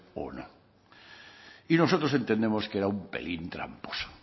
o no y nosotros entendemos que era un pelín tramposo